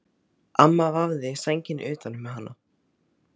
Amma vafði sænginni utan um hana.